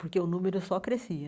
Porque o número só crescia.